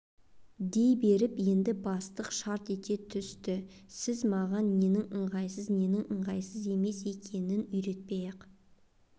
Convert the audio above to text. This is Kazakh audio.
дей беріп еді бастық шарт ете түсті сіз маған ненің ыңғайсыз ненің ыңғайсыз емес екенін үйретпей-ақ